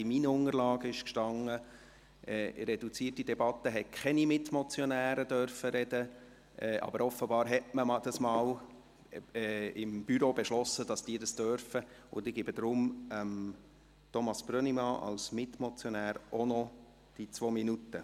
In meinen Unterlagen stand, in einer reduzierten Debatte dürften keine Mitmotionäre sprechen, aber offenbar wurde im Büro einmal beschlossen, dass sie dies dürfen, und deshalb gebe ich Thomas Brönnimann als Mitmotionär auch noch die zwei Minuten.